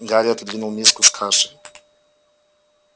гарри отодвинул миску с кашей